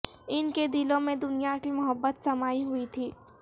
ان کے دلوں میں دنیا کی محبت سمائی ہوئی تھی